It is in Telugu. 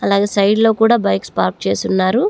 అలాగే సైడ్ లో కూడా బైక్స్ పార్క్ చేసి ఉన్నారు.